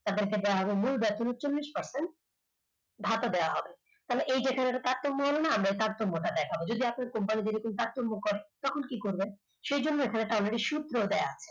তাদেরকে দেওয়া হবে মূল বেতনে চল্লিশ percent ভাতা দেওয়া হবে তাহলে এই যে এখানে একটা তারতম্য হলো না আমরা তারতম্য টা দেখাবো যদি আপনি company তে এরকম কাজকর্ম করেন তখন কি করবেন সেই জন্য এখানে একটা already একটা সূত্র দেওয়া